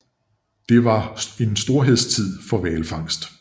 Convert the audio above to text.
Det var en storhedstid for hvalfangst